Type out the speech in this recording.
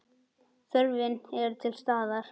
Þörfin er til staðar.